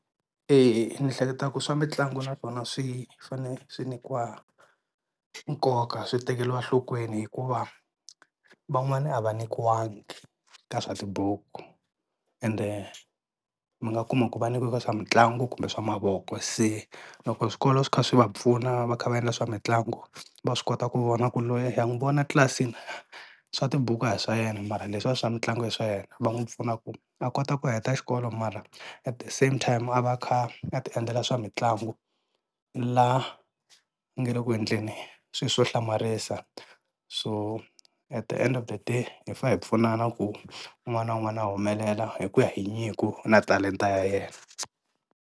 Ni hleketaka ku swa mitlangu na swona swi fanele swi nyikiwa nkoka swi tekeriwa nhlokweni hikuva van'wana a va nyikiwangi ka swa tibuku ende mi nga kuma ku va nyikiwe ka swa mitlangu kumbe swa mavoko se loko swikolo swi kha swi va pfuna va kha va endla swa mitlangu va swi kota ku vona ku loyi ha n'wi vona tlilasini swa tibuku a hi swa yena mara leswiya swa mitlangu i swa yena, va n'wi pfuna ku a kota ku heta xikolo mara at the same time a va a kha a ti endlela swa mitlangu laha ku nga ri ku endleni swi swo hlamarisa so at the end of the day hi fa hi pfunana ku un'wana na un'wana a humelela hi ku ya hi nyiko na talenta ya yena.